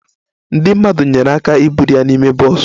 Ndị mmadụ nyeere aka iburu ya n'ime bọs